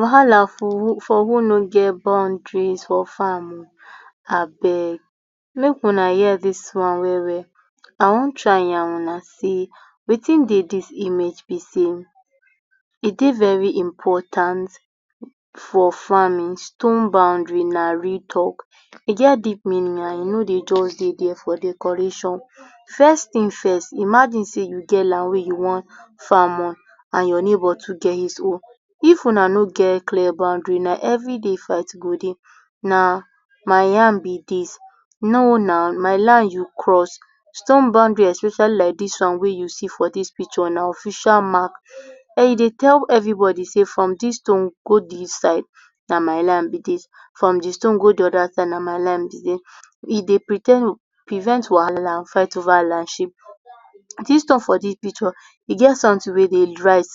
Wahala for who…for who no get boundaries for farm o, abeg, mek una hear dis one well well, I wan try yarn una sey wetin dey dis image be sey, e dey very important for farming, stone boundary na real talk, e get deep meaning and e no dey just dey dia for decoration. First tin first, imagine sey you get land wey you wan farm on and your neighbor too get his own, if una no get clear boundary na every day fight go dey, na my yam be dis, no naw, my line you cross. Stone boundary especially like dis one wey you see for dis picture na official mark[um] e dey tell everybody sey, from dis stone go dis side, na my land be dis, from di stone go di oda side, na my land be dis, e dey pre ten d, prevent wahala, fight over landship. Dis stone for dis picture, e get sometin wey dey write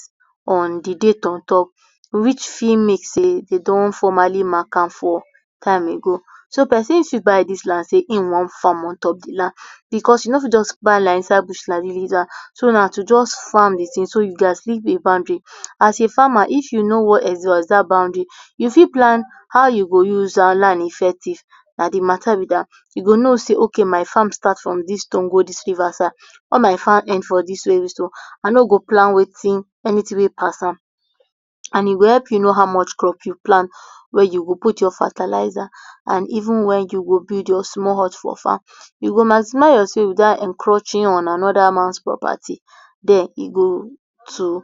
on di date on top which fit mean sey de don formally mark am for time ago. So, person fit buy dis land sey im wan farm on top di land, because you no fit just buy land inside bush like dis mey you dey use am, so na to just farm di tin, so you gats leave a boundary. As a farmer if you no want exhaust dat boundary, you fit plan how you go use our land effective, na di mata be dat. You go know sey, ok, my farm start from dis stone go dis river side or my farm end for dis stone, I no go plan wetin, anytin wey pass am, and e go help you know how much crop you plant, where you go put your fertilizer and even where you go build your small hut for farm. You go maximise your space without encroaching on anoda man’s property. Den e go too,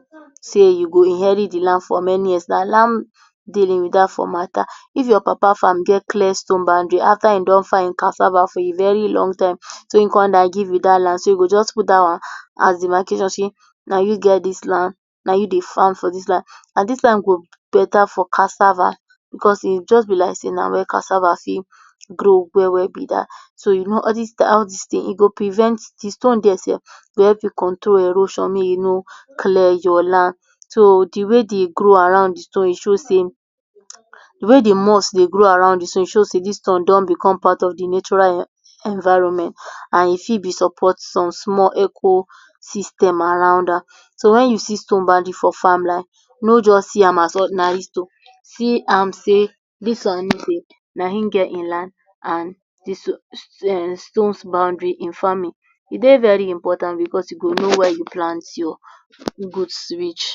sey you go inherit di land for many years, na land dealing be dat for mata. If your papa farm get clear stone boundary, after e don farm e cassava for a very long time so e kon die give you dat land, so you go just put dat one as demarcation sey, na you get dis land, na you dey farm for dis land, na dis land go beta for cassava because e just be like sey na where cassava fit grow well well be dat, so you know all dis da, all dis tin e go prevent di stone dier sef go help you control erosion mey you no clear your land. So, di way di grow around di stone, e show sey di way di must dey grow around di stone e show sey dis stone don become part of di natural environment and e fit be support some small ecosystem around am. So, when you see stone boundary for farm, like no just see am as ordinary stone, see am sey dis one mean sey na in get in land and dis stone um, stone boundary in farming e dey very important because you go know where you plant your goods reach.